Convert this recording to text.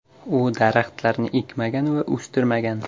U daraxtlarni ekmagan va o‘stirmagan.